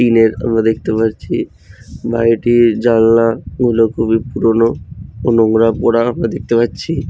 টিনের আমরা দেখতে পারছি বাড়িটির জানলা গুলো খুবই পুরনো নোংরা পোড়া আমরা দেখতে পাচ্ছি।